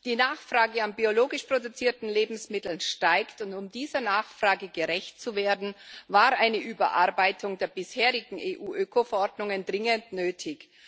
Die Nachfrage nach biologisch produzierten Lebensmitteln steigt, und um dieser Nachfrage gerecht zu werden, war eine Überarbeitung der bisherigen EU Ökoverordnungen dringend nötig.